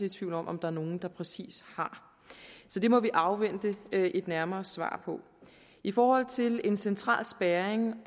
i tvivl om om der er nogen der ved præcist så det må vi afvente et nærmere svar på i forhold til en central spærring